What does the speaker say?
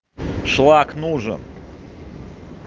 шлак нужен